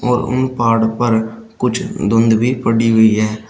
उन पहाड़ों पर कुछ धुंध भी पड़ी हुई है।